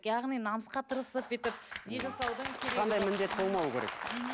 яғни намысқа тырысып бүйтіп не жасаудың ешқандай міндет болмауы керек мхм